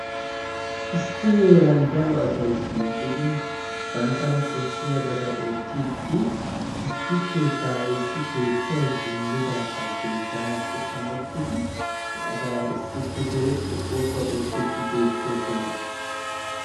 Issi heeran daro asay shiiqidi banttana koshshiyabata oottiiddi issi keettaayeessi keettay wullidaagaa denttanaassi amottidi he asaara issippe zorettidi oosuwa oottiiddi beettoosona.